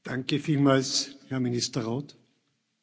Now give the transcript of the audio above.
Herr Präsident, liebe Kolleginnen und Kollegen!